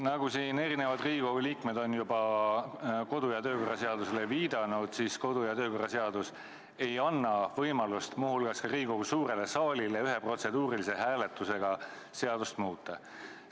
Nagu siin teised Riigikogu liikmed on juba kodu- ja töökorra seadusele viidanud, siis kodu- ja töökorra seadus ei anna võimalust – muu hulgas ka Riigikogu suurele saalile mitte – ühe protseduurilise hääletusega seadust muuta.